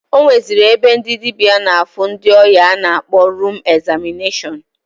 O nweziri ebe ndị dịbịa na-afụ ndị ọya a na-akpọ rum egzamịneshọn.